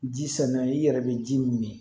Ji sɔnna i yɛrɛ bɛ ji min